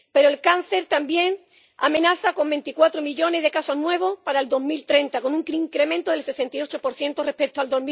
Pero el cáncer también amenaza con 24 millones de casos nuevos para 2030, con un incremento del 68 respecto a